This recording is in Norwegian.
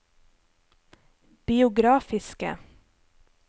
biografiske